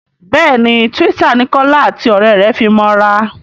béèni Twitter ní Kola àti òré rẹ fí mọ ra.